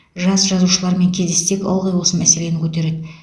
жас жазушылармен кездессек ылғи осы мәселені көтереді